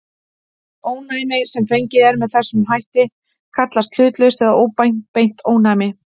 Ónæmi sem fengið er með þessum hætt kallast hlutlaust eða óbeint ónæmi.